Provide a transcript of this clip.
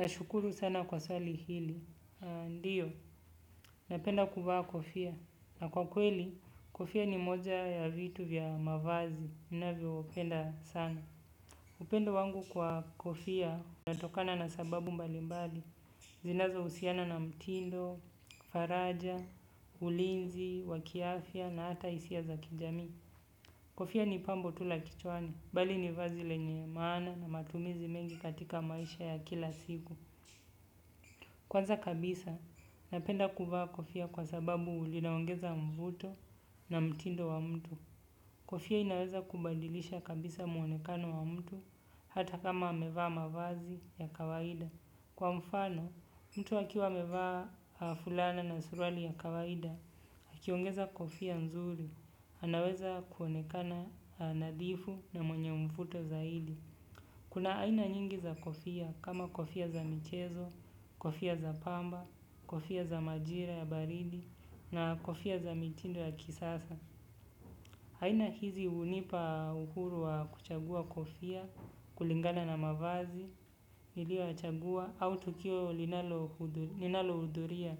Nashukuru sana kwa swali hili. Ndiyo, napenda kuvaa kofia. Na kwa kweli, kofia ni moja ya vitu vya mavazi. Ninavyo upenda sana. Upendo wangu kwa kofia unatokana na sababu mbali mbali. Zinazo usiana na mtindo, faraja, ulinzi, wakiafya na hata isia za kijami. Kofia ni pambo tu la kichwani. Bali ni vazi lenye maana na matumizi mengi katika maisha ya kila siku. Kwanza kabisa, napenda kuvaa kofia kwa sababu linaongeza mvuto na mtindo wa mtu. Kofia inaweza kumbandilisha kabisa mwonekano wa mtu hata kama amevaa mavazi ya kawaida kwa mfano mtu akiwa amevaa fulana na suruali ya kawaida akiongeza kofia nzuri anaweza kuonekana nadhifu na mwenye mvuto zaidi. Kuna aina nyingi za kofia kama kofia za michezo, kofia za pamba, kofia za majira ya baridi na kofia za mitindo ya kisasa. Aina hizi unipa uhuru wa kuchagua kofia, kulingana na mavazi, nilio yachagua au tukio linalo uduria.